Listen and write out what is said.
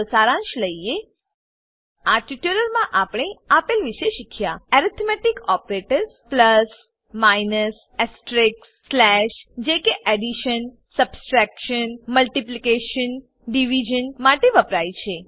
ચાલો સારાંશ લઈએ આ ટ્યુટોરીયલમાં આપણે આપેલ વિશે શીખ્યા એરિથમેટિક ઓપરેટર્સ એર્થમેટીક ઓપરેટરો પ્લસ માઈનસ એસ્ટેરિસ્ક સ્લેશ જે કે એડીશન સબટ્રેક્શન મલ્ટીપ્લીકેશન ડીવીઝન માટે વપરાય છે